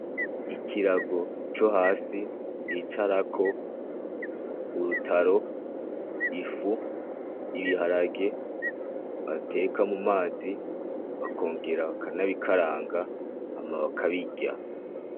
Ikirago co hasi bicarako ,urutaro, ifu, ibiharage bateka mumazi ,bakongera bakanabikaranga hama bakabirya .